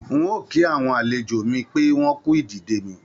N ò kí àwọn àlejò mi pé wọ́n kú ìdìde mi